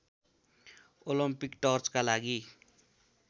Olympic टर्चका लागि